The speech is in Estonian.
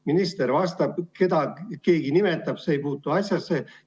Minister vastab ja keda keegi nimetab, ei puutu asjasse.